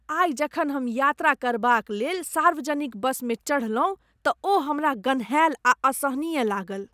आइ जखन हम यात्रा करबाक लेल सार्वजनिक बसमे चढ़लहुँ तऽ ओ हमरा गन्हाएल आ असहनीय लागल।